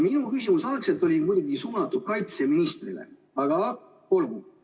Minu küsimus oli mõeldud küll kaitseministrile, aga olgu.